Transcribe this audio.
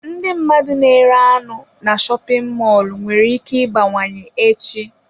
Ndị mmadụ na-ere anụ na shopin mọlụ nwere ike ịbawanye echi.